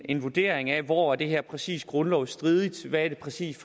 en vurdering af hvor det her præcis er grundlovsstridigt hvad det præcis